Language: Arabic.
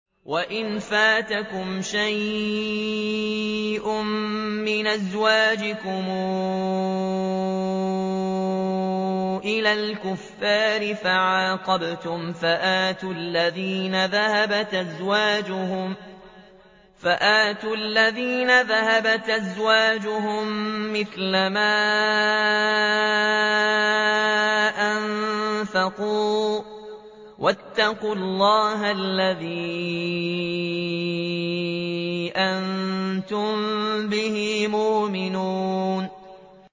وَإِن فَاتَكُمْ شَيْءٌ مِّنْ أَزْوَاجِكُمْ إِلَى الْكُفَّارِ فَعَاقَبْتُمْ فَآتُوا الَّذِينَ ذَهَبَتْ أَزْوَاجُهُم مِّثْلَ مَا أَنفَقُوا ۚ وَاتَّقُوا اللَّهَ الَّذِي أَنتُم بِهِ مُؤْمِنُونَ